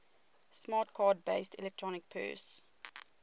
smart card based electronic purse